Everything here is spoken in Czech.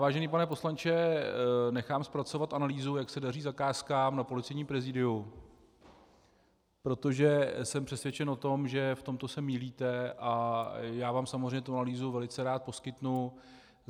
Vážený pane poslanče, nechám zpracovat analýzu, jak se daří zakázkám na Policejním prezidiu, protože jsem přesvědčen o tom, že v tomto se mýlíte, a já vám samozřejmě tu analýzu velice rád poskytnu.